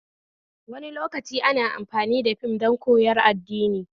Wani lokaci ana amfani da fim don koyar addini